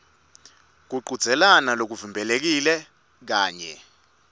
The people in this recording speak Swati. kuchudzelana lokuvimbelekile kanye